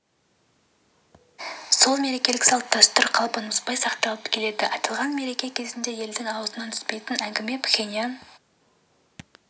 сол мерекелік салт-дәстүр қалпын бұзбай сақталып келеді аталған мереке кезінде елдің аузынан түспейтін әңгіме пхеньян